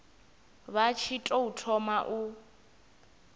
vha tshi tou thoma u